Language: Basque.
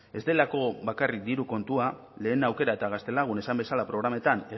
ez delako bakarrik diru kontua lehen aukera eta gaztelagun esan bezala programetan